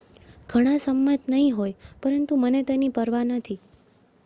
"""ઘણા સંમત નહી હોય પરંતુ મને તેની પરવા નથી.